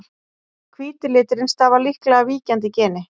hvíti liturinn stafar líklega af víkjandi geni